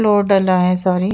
डला है सारी --